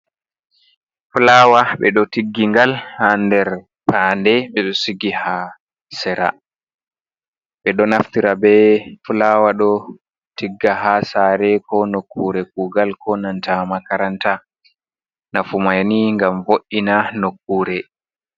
"Fulaawa" ɓeɗo tiggi ngal ha nder panɗe ɓeɗo sigi ha sare ɓeɗo naftira be fulaawa ɗo tigga ha sare ko nokkure kugal ko nanta makaranta nafu mai ni ngam vo’ina nokkure.